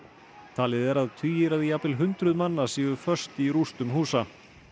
talið er að tugir eða jafnvel hundruð manna séu fastir í rústum húsa